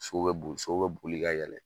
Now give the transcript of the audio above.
Sow bɛ boli, sow bɛ boli ka yɛlɛn